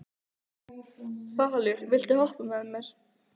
Falur, viltu hoppa með mér?